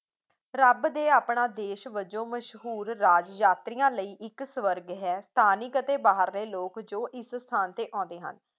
ਰੱਬ ਦੇ ਆਪਣਾ ਦੇਸ਼ ਵੱਜੋਂ ਮਸ਼ਹੂਰ ਰਾਜ ਯਾਤਰੀਆਂ ਲਈ ਇੱਕਸਵਾਰਗ ਹੈ ਸਥਾਨਿਕ ਅਤੇ ਬਾਹਰ ਦੇ ਲੋਕ ਜੋ ਇਸ ਸਥਾਨ ਤੇ ਆਉਂਦੇ ਹਨ